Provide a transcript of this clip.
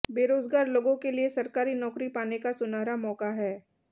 बेरोजगार लोगों के लिए सरकारी नौकरी पाने का सुनहरा मौका है